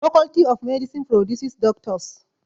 Faculty of medicine produces Doctors.